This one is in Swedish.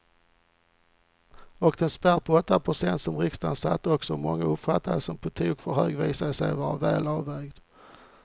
Och den spärr på åtta procent som riksdagen satte och som många uppfattade som på tok för hög visade sig vara välavvägd.